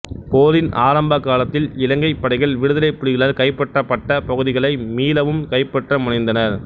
போரின் ஆரம்ப காலத்தில் இலங்கைப் படைகள் விடுதலைப் புலிகளால் கைப்பற்றப்பட்ட பகுதிகளை மீளவும் கைப்பற்ற முனைந்தனர்